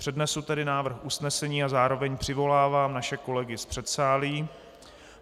Přednesu tedy návrh usnesení a zároveň přivolávám naše kolegy z předsálí.